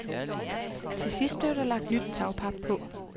Til sidst blev der lagt nyt tagpap på.